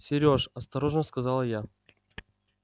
серёж осторожно сказала я